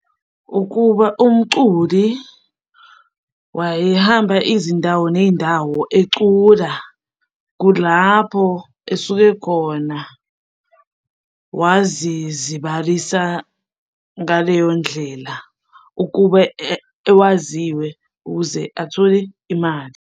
Ukuba umculi wayehamba izindawo ney'ndawo ecula, kulapho esuke khona wazizibalisa ngaleyo ndlela ukube ewaziwe ukuze athole imali.